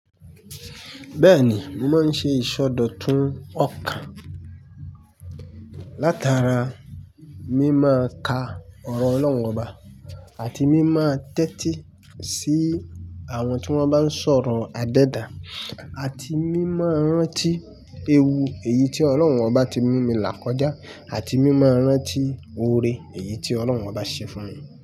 Bẹ́ẹ̀ni, mo máa ń ṣe ìsọdọ̀tun ọkàn. Látara mi máa ka ọ̀rọ̀ Ọlọ́run oba àti mi máa tẹ́tí sí àwọn tí wọ́n bá ń sọ̀rọ̀ adẹ́dà. Àti mi máa rántí ewu èyí tí Ọlọ́run ọbá ti mú mi là kọjá àti mi máa rántí oore èyí tí Ọlọ́run ọbá ṣe fún mi.